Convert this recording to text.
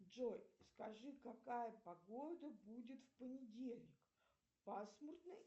джой скажи какая погода будет в понедельник пасмурная